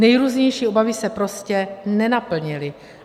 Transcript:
Nejrůznější obavy se prostě nenaplnily.